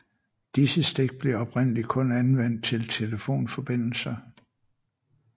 Disse stik blev oprindelig kun anvendt til telefonforbindelser